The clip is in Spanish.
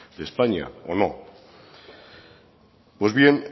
de españa o no pues bien